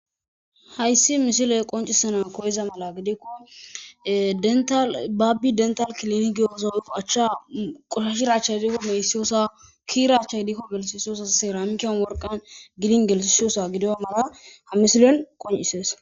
Hayisi misiley qoncisanasi koyiza mala gidikko dental bapppi dnitali kilen gizoo acchcha qoshshashido achayi deikko gigissiyoyisa achayi dikko glithisoosona cermikeni woliqani gelithisiyoyisa qoncisesi